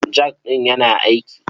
Jak ɗin yana aiki.